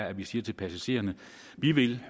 at vi siger til passagererne at vi ved